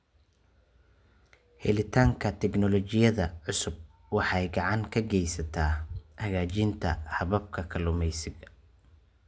Helitaanka tignoolajiyada cusub waxay gacan ka geysataa hagaajinta hababka kalluumeysiga.